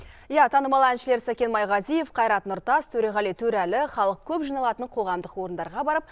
иә танымал әншілер сәкен майғазиев қайрат нұртас төреғали төреәлі халық көп жиналатын қоғамдық орындарға барып